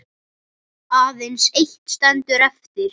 Þetta kemur okkur öllum við.